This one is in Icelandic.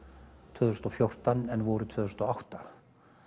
tvö þúsund og fjórtán en voru tvö þúsund og átta